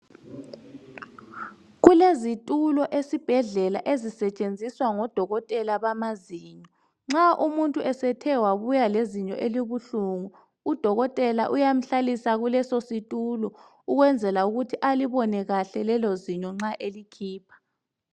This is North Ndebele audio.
Kulezitulo esibhedlela ezisetshenziswa ngodokotela abamazinyo. Nxa umuntu esethe wabuya lezinyo elibuhlungu udokotela uyamhlalisa kuleso situlo ukwenzela ukuthi alibone kahle lelo zinyo nxa elikhipha.